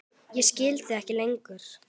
Ég skil þig ekki lengur.